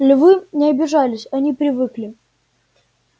львы не обижались они привыкли